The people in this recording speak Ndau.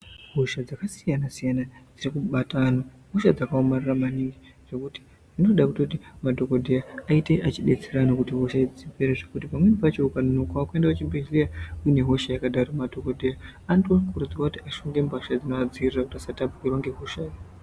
Hosha dzaka siyana siyana dziri kubata anhu ihosha dzaka omarara maningi zvekuti dzinoda kutoti madhokodheya ayite achi detserana kuti hosha idzi dzipere zvekuti pamweni pacho uka nonokawo kuenda ku chibhedhleya une hosha yakadaro madhokodheya anoto kurudzirwa kuti ashonge mbatya dzinova dzivirira kuti asa tapukirwa nge hosha.